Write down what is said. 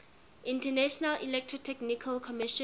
international electrotechnical commission